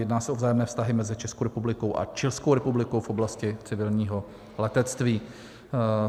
Jedná se o vzájemné vztahy mezi Českou republikou a Chilskou republikou v oblasti civilního letectví.